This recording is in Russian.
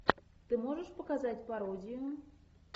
ты можешь показать пародию